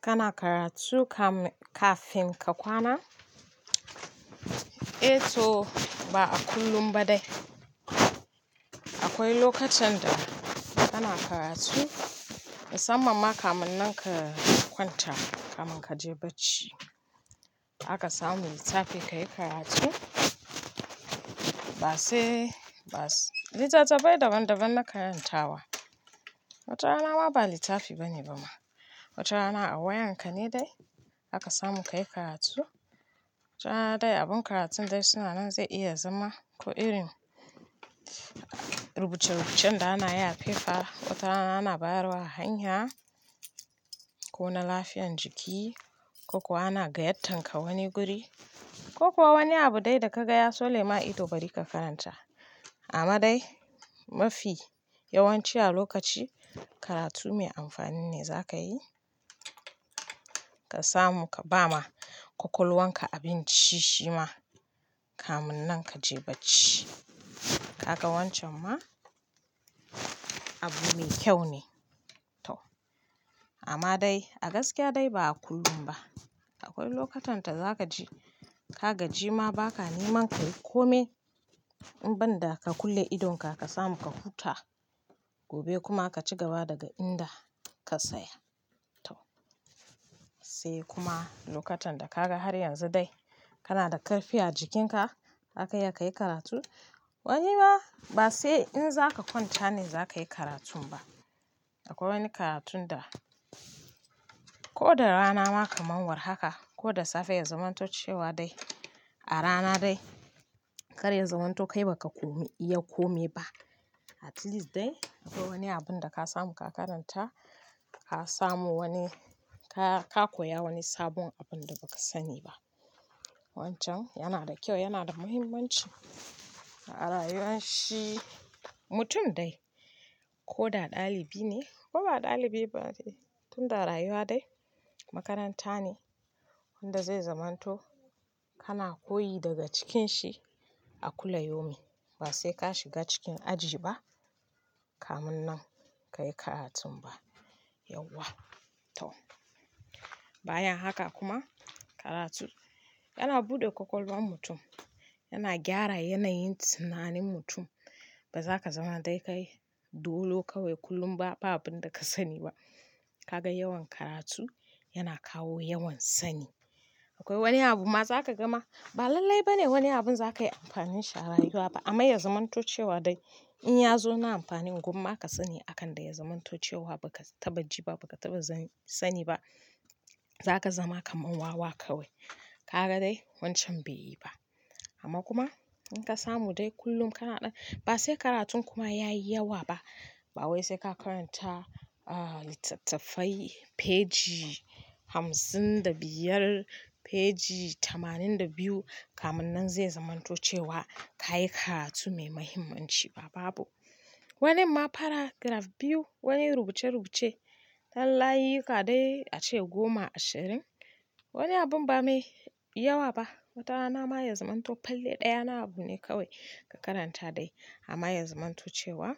Kana karatu kafin ka kwana, ba a kullum ba dai Akwai lokutan da kana karatu musamman kamun nan ka kwanta kamun ka je bacci. Haka samu littafi ka yi karatu ba sai ba. Litattafai daban-daban na karantawa. Watana ma ba littafi ba ne ba ma, watana wayan ka ne dai haka samu ka yi karatu. Wata dai abun karatun dai suna nan zai iya zama ko irin rubuce-rubucen da ana yi a paper, wata ana bawar hanya ko na lafiyar jiki ko kuwa ana gayatanka wani guri ko kuwa wani abu dai da ka gaya ya tsole ma ido bari ka karanta. Amma dai mafi yawanci a lokaci karatu mai amfani ne za ka yi. Ka samu ka ba ma kwakwalwan ka abin ci shi ma kamun nan ka je bacci. Kaga wancan ma abu mai kyau ne tau. Amma dai a gaskiya dai ba a kullum ba. Akwai lokutan da za ka ji ka gaji ma ba ka neman ka yi kome inban da ka kulle idonka ka samu ka huta gobe kuma ka ci gaba daga inda ka tsaya tau. Sai kuma lokutan da ka ga har yanzu dai kana da karfi a jikinka zaka iya ka yi karatu wani ma ba sai in za ka kwanta ne za ka yi karatun ba. Akwai wani karatun da ko da rana ma kaman warhaka ko da safe ya zamanto cewa dai a rana dai karya zamanto kai ba ka koma iya kome ba. At least dai akwai wani abun da ka samu ka karanta ka samu wani ka-ka koya wani sabon abun da ba ka sani ba. Wancan yana da kyau, yana da muhimmanci a rayuwan shi mutum dai koda dalibi ne, ko ba dalibi ba dai tunda rayuwa dai makaranta ne wanda zai zamanto kana koyi daga cikin shi a kulla yomin ba sai ka shiga cikin aji ba kamun nan ka yi karatun ba. Yauwa tau. Bayan haka kuma karatu yana buɗe kwakwalwan mutum, yana gyara yanayin tunanin mutum. Ba za ka zama dai kai dolo kawai kullum ba, ba abin da ka sani ba. Ka ga yawan karatu yana kawo yawan sani. Akwai wani abu ma za ka gama ba lallai ba ne wani abin za ka yi amfanin shi rayuwa ba amma ya zamanto cewa dai in ya zo na amfanin gumma ka sani akan dai ya zamanto cewa ba ka taɓa ji ba, ba ka taɓa sani ba. Za ka zama kaman wawa kawai. Ka ga dai wancan bai yi ba. Amma kuma in ka samu dai kullum kana ɗan-- ba sai karatun kuma ya yi yawa ba. Ba wai sai ka karanta litattafai peji hamsin da biyar, peji tamanin da biyu kamun nan zai zamanto cewa ka yi karatu mai muhimmanci ba babu. Wanin ma paragraph biyu, wani rubuce-rubuce yan layuyyuka dai ace goma ashirin. Wani abun ba mai yawa ba. Watana ma ya zamanto palle ɗaya na abu ne kawai ka karanta dai amma ya zamanto cewa